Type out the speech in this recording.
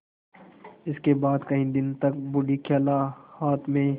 इसके बाद कई दिन तक बूढ़ी खाला हाथ में